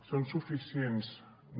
són suficients no